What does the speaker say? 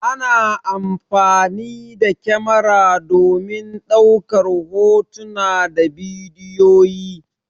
Ana amfani da kamara domin ɗaukar hotuna da bidiyoyi.